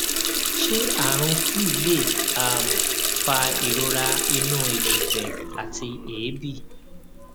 ṣé àrùn flu lè um fa ìrora inu ìgùfẹ̀ àti èébi